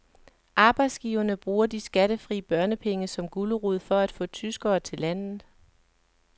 Arbejdsgiverne bruger de skattefri børnepenge som gulerod for at få tyskere til landet.